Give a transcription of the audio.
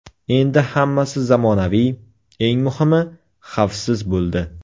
Endi hammasi zamonaviy, eng muhimi, xavfsiz bo‘ldi.